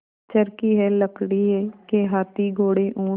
चर्खी है लकड़ी के हाथी घोड़े ऊँट